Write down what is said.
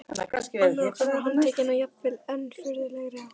Annar okkar var handtekinn á jafnvel enn furðulegri hátt.